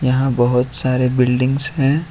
यहां बहुत सारे बिल्डिंगस हैं।